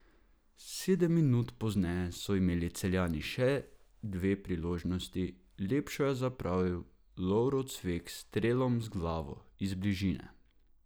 Sedem minut pozneje so imeli Celjani še dve priložnosti, lepšo je zapravil Lovro Cvek s strelom z glavo iz bližine.